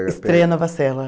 Estreia Nova Sela.